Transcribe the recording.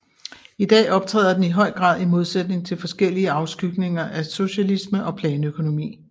I dag optræder den i høj grad i modsætning til forskellige afskygninger af socialisme og planøkonomi